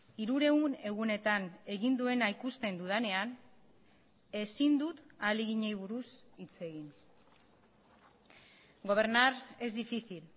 hirurehun egunetan egin duena ikusten dudanean ezin dut ahaleginei buruz hitz egin gobernar es difícil